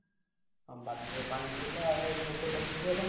ଆମ ବାଡିରେ ପାଣି ଥିଲା ଆଉ ପୋଖରୀଟା ଶୁଖିଗଲା।